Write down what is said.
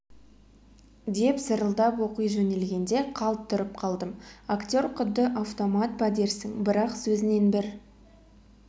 деп зырылдатып оқи жөнелгенде қалт тұрып қалдым актер құдды автомат па дерсің бірақ сөзінен бір